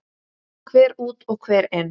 Hver út og hver inn?